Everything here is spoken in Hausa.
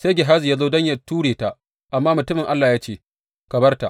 Sai Gehazi ya zo don yă ture ta, amma mutumin Allah ya ce, Ka bar ta!